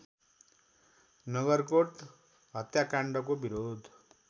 नगरकोट हत्याकाण्डको विरोध